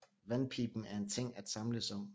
Vandpiben er en ting at samles om